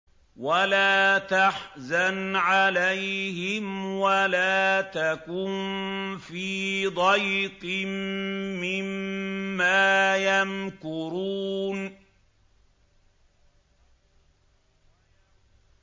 وَلَا تَحْزَنْ عَلَيْهِمْ وَلَا تَكُن فِي ضَيْقٍ مِّمَّا يَمْكُرُونَ